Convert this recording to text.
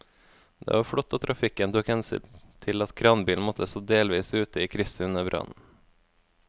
Det var flott at trafikken tok hensyn til at kranbilen måtte stå delvis ute i krysset under brannen.